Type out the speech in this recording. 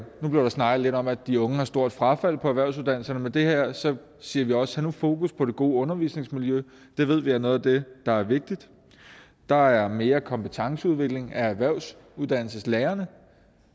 nu blev der snakket lidt om at de unge har stort frafald på erhvervsuddannelserne med det her siger siger vi også have fokus på det gode undervisningsmiljø det ved vi er noget af det der er vigtigt der er mere kompetenceudvikling af erhvervsuddannelseslærerne